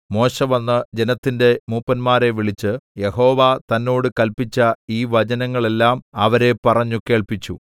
മോശെ വന്ന് ജനത്തിന്റെ മൂപ്പന്മാരെ വിളിച്ച് യഹോവ തന്നോട് കല്പിച്ച ഈ വചനങ്ങളെല്ലാം അവരെ പറഞ്ഞു കേൾപ്പിച്ചു